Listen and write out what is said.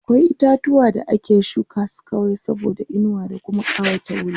akwai itatuwa da ake shuka su kawai saboda inuwa da Kuma ƙawata wuri